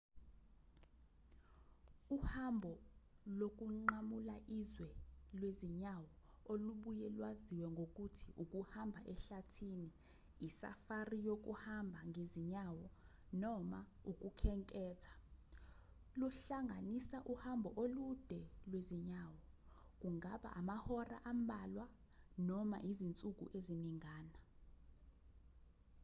uhambo lokunqamula izwe lwezinyawo olubuye lwaziwe ngokuthi ukuhamba ehlathini i-safari yokuhamba ngezinyawo noma ukukhenketha luhlanganisa uhambo olude lwezinyawo kungaba amahora ambalwa noma izinsuku eziningana